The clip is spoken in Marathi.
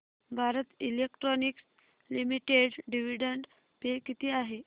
Bharat electronics limited dividend pay किती आहे